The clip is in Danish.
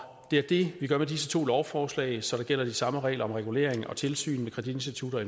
er det vi gør med disse to lovforslag så der gælder de samme regler om regulering og tilsyn med kreditinstitutter og